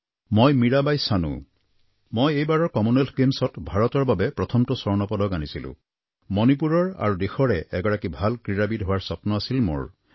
মই মীৰাবাই চানু মই এইবাৰৰ কমনৱেলথ গেমছত ভাৰতৰ বাবে প্ৰথমটো স্বৰ্ণ পদক আনিছিলোঁ মণিপুৰৰ আৰু দেশৰে এগৰাকী ভাল ক্ৰীড়াবিদ হোৱাৰ স্বপ্ন আছিল মোৰ